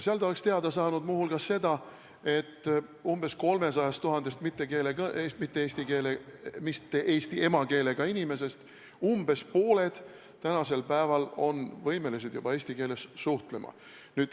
Seal oleks ta teada saanud muu hulgas seda, et umbes 300 000 inimesest, kelle emakeel ei ole eesti keel, umbes pooled on tänasel päeval võimelised juba eesti keeles suhtlema.